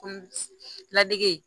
Kunun ladege